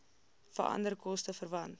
veranderlike koste verwant